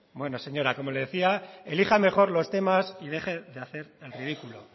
bueno señora como le decía elija mejor los temas y deje de hacer el ridículo